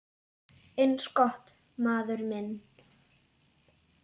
Eins gott, maður minn